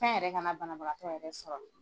Fɛn yɛrɛ kana banabagatɔ yɛrɛ sɔrɔ.